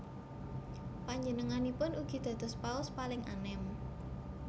Panjenenganipun ugi dados Paus paling anem